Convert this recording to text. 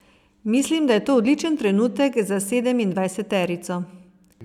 Mislim, da je to odličen trenutek za sedemindvajseterico.